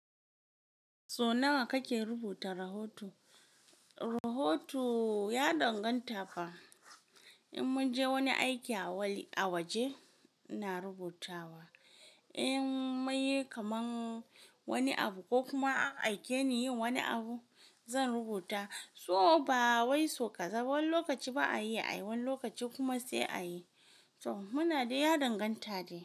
So nawa kake rubuta rahoto? Rahoto ya danganta fa. In mun je wani aiki a waje ina rubutawa. In munyi kaman wani abu ko kuma an aike ni yin wani abu zan rubuta. So ba wai so ƙaza ba. Wani lokaci ba a iya ayi, wani lokaci kuma sai a yi. So muna dai ya danganta da.